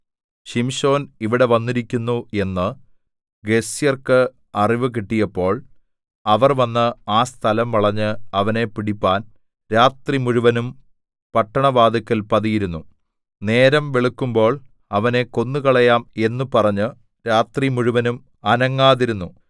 ശിംശോൻ ഇവിടെ വന്നിരിക്കുന്നു എന്ന് ഗസ്യർക്ക് അറിവ് കിട്ടിയപ്പോൾ അവർ വന്ന് ആ സ്ഥലം വളഞ്ഞ് അവനെ പിടിപ്പാൻ രാത്രിമുഴുവനും പട്ടണവാതില്ക്കൽ പതിയിരുന്നു നേരം വെളുക്കുമ്പോൾ അവനെ കൊന്നുകളയാം എന്ന് പറഞ്ഞ് രാത്രിമുഴുവനും അനങ്ങാതിരുന്നു